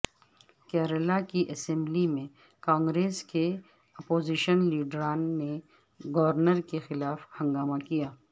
کیرالا کی اسمبلی میں کانگریس کے اپوزیشن لیڈران نے گورنر کے خلاف ہنگامہ کیا